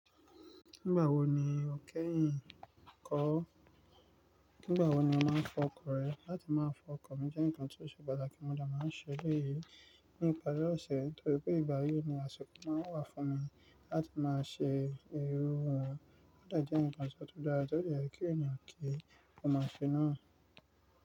Nígbà wo ni o kẹ́yìn kọ́? Nígbà wo ni o máa fọkọ rẹ? Láti máa fọkọ mi jẹ́ ǹkan tó ṣe pàtàkì, mo dẹ̀ máa ń ṣe leyi. Ní ìpari ọ̀sẹ̀ torí pé ìgbà yìí ni àsìkọ̀ máa ń wá fún mi láti máa ṣe irú irun wa ọ̀dà jẹ́ ǹkan tó dára, tó yẹ kí ènìyàn kí ó máa ṣe náà.